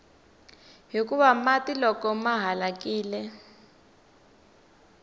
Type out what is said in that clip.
hikuva mati loko ma halakile